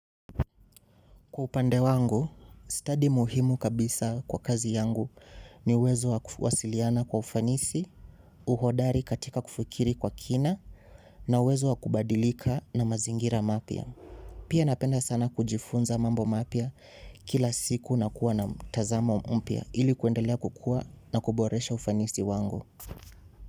Kwa upande wangu, study muhimu kabisa kwa kazi yangu ni uwezo wakufuasiliana kwa ufanisi, uhodari katika kufukiri kwa kina na uwezo wakubadilika na mazingira mapya. Pia napenda sana kujifunza mambo mapia kila siku na kuwa na mtazamo mpya ilik uendelea kukua na kuboresha ufanisi wangu.